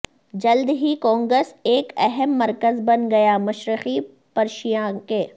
جلد ہی کونگس ایک اہم مرکز بن گیا مشرقی پرشیا کے